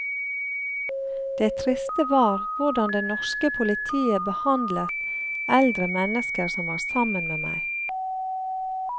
Det triste var hvordan det norske politiet behandlet eldre mennesker som var sammen med meg.